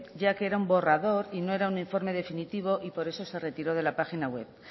ya que era un borrador y no era un informe definitivo y por eso se retiró de la página web